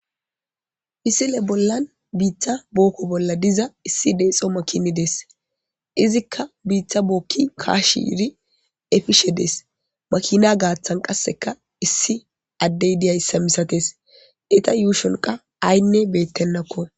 Misile bollan biita booko bolla diza issi deexo makini de'es; izikka biita booki kaashidi epishe dees; makina gaathan qasseka issi addey diyayssa misatees; eeta yuushon qa aynne beetenako.